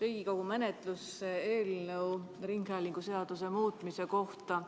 Riigikogu menetlusse eelnõu ringhäälinguseaduse muutmise kohta.